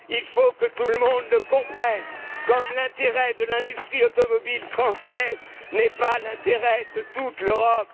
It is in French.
l'Europe. Il faut que tout le monde le comprenne! Tout comme l'intérêt de l'industrie automobile française n'est pas l'intérêt de toute